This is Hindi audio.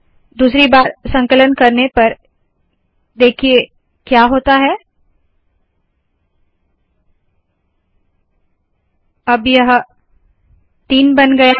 दूसरी बार संकलन करने पर देखिए क्या होता है - अब यह तीन बन गया है